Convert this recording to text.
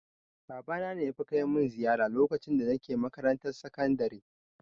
Babana ne yafi kai mun ziyara lokacin da nake makarantar sakandare